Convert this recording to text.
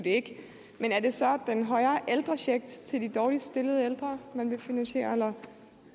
men er det så den højere ældrecheck til de dårligst stillede ældre eller